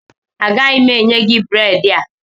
Agaghị m enye gị bredị a